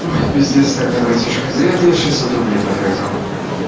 ой пиздец тогда братишка зря ты шестьсот рублей потратил